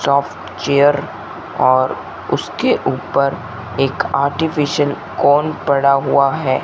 Soft chair और उसके ऊपर एक आर्टिफिशियल कोन पड़ा हुआ है।